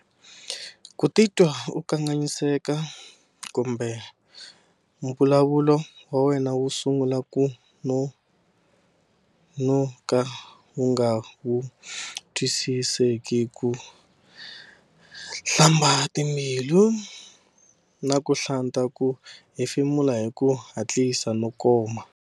Ku titwa u kanganyiseka kumbe mbulavulo wa wena wu sungula ku no-noka na ku va wu nga twi-siseki. Ku hlamba hi timbilu na ku hlanta. Ku hefemula hi ku hatlisa ko koma.